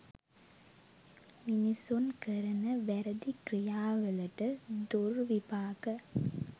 මිනිසුන් කරන වැරැදි ක්‍රියාවලට දුර්විපාක